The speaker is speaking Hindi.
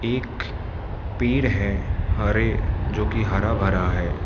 एक पेड़ है हरे जो की हरा भरा है।